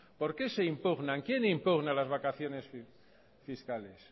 por qué se impugnan quién impugna las vacaciones fiscales